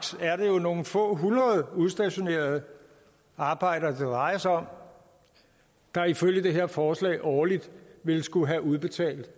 er det jo nogle få hundrede udstationerede arbejdere det drejer sig om der ifølge det her forslag årligt ville skulle have udbetalt